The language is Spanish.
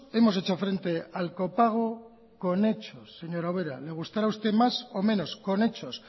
hemos hecho frente al copago con hechos señora ubera le gustará más o menos con hechos